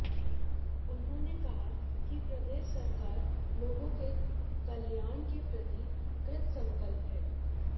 उन्होंने कहा कि प्रदेश सरकार लोगों के कल्याण के प्रति कृतसंकल्प है